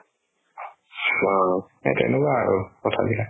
অ, এহ্ তেনেকুৱা আৰু কথাবিলাক